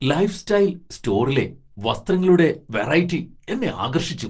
Lifestyle സ്റ്റോറിലെ വസ്ത്രങ്ങളുടെ variety എന്നെ ആകർഷിച്ചു!